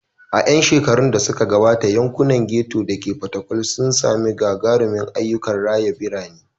A 'yan shekarun da suka gabata, yankunan ghetto da ke Fatakwal sun sami gagarumin ayyukan raya birane.